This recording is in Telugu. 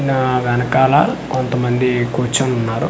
నా వెనకాల కొంతమంది కూర్చోని ఉన్నారు.